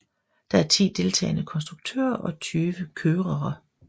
Der er ti deltagende konstruktører og tyve kørere